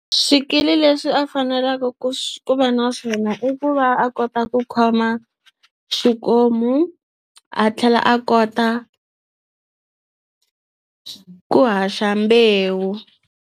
Swikili leswi a fanelaka ku va na swona i ku va a kota ku khoma xikomu a tlhela a kota ku haxa mbewu.